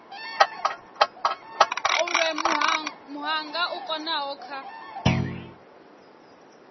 olwe muhanga u konaho kha